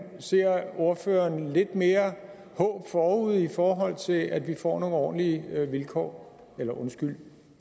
ser ordføreren lidt mere håb forude i forhold til at vi får nogle ordentlige vilkår eller undskyld